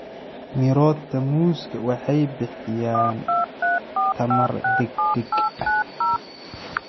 Mirota muuska waxay bixiyaan tamar degdeg ah.